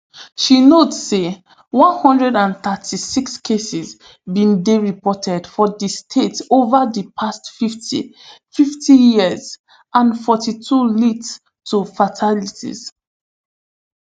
she note say one hundred and thirty-six cases bin dey reported for di state ova di past fifty fifty years and forty-two lead to fatalities